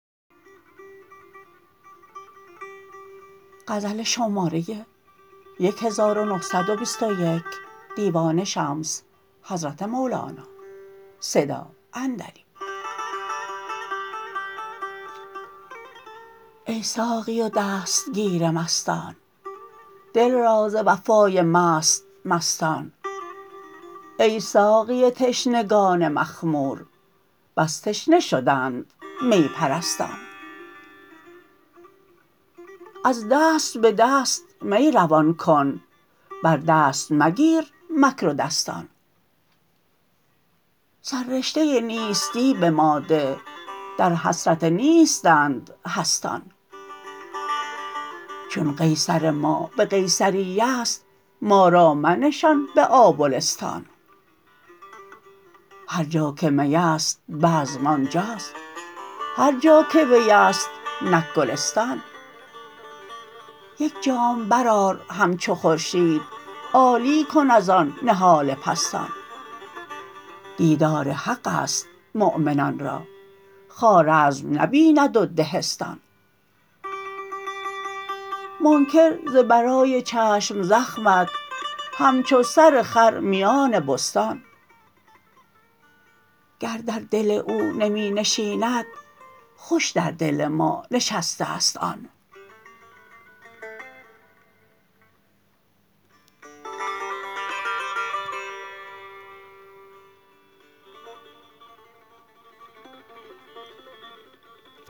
ای ساقی و دستگیر مستان دل را ز وفای مست مستان ای ساقی تشنگان مخمور بس تشنه شدند می پرستان از دست به دست می روان کن بر دست مگیر مکر و دستان سررشته نیستی به ما ده در حسرت نیستند هستان چون قیصر ما به قیصریه ست ما را منشان به آبلستان هر جا که می است بزم آن جاست هر جا که وی است نک گلستان یک جام برآر همچو خورشید عالی کن از آن نهال پستان دیدار حق است مؤمنان را خوارزم نبیند و دهستان منکر ز برای چشم زخمت همچو سر خر میان بستان گر در دل او نمی نشیند خوش در دل ما نشسته است آن